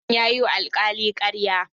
Hassan ya yiwa alkali karya.